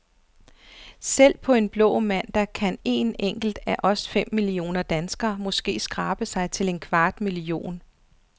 Selv på en blå mandag kan een enkelt af os fem millioner danskere, måske, skrabe sig til en kvart million.